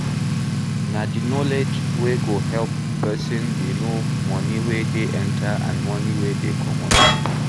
Na di knowledge wey go help person dey know money wey dey enter and money wey dey comot